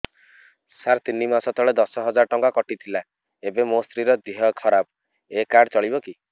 ସାର ତିନି ମାସ ତଳେ ଦଶ ହଜାର ଟଙ୍କା କଟି ଥିଲା ଏବେ ମୋ ସ୍ତ୍ରୀ ର ଦିହ ଖରାପ ଏ କାର୍ଡ ଚଳିବକି